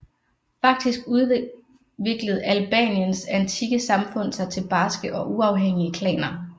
Faktisk udviklede Albaniens antikke samfund sig til barske og uafhængige klaner